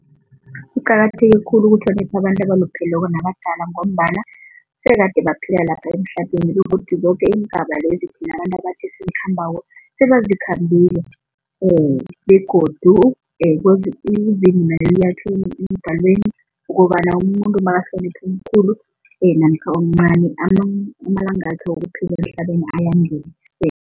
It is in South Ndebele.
Kuqakatheke khulu ukuhlonipha abantu abalupheleko nabadala ngombana sekade baphila lapha emhlabeni begodu zoke iingaba lezi thina abantu esizikhambako sebazikhambile begodu ukobana umuntu nakahlanipha omkhulu namkha omncani amalangakhe wokuphila emhlabeni